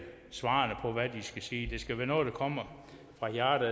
svarene på hvad de skal sige det skal være noget der kommer fra hjertet